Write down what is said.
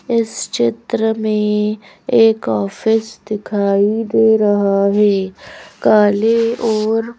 इस चित्र में एक ऑफिस दिखाई दे रहा है काले और--